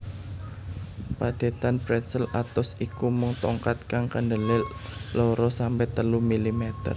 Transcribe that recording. Padhetan pretzel atos iku mung tongkat kang kandelé loro sampe telu milimeter